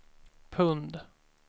pund